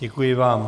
Děkuji vám.